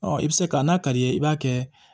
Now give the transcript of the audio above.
i bɛ se ka n'a ka d'i ye i b'a kɛ